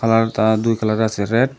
আর তা দুই কালার আসে রেড ।